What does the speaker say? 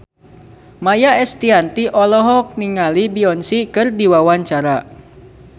Maia Estianty olohok ningali Beyonce keur diwawancara